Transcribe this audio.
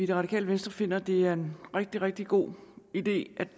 det radikale venstre finder at det er en rigtig rigtig god idé